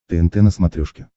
тнт на смотрешке